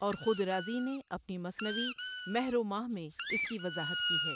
اور خود رازیؔ نے اپنی مثنوی مہر و ماہ میں اس کی وضاحت کی ہے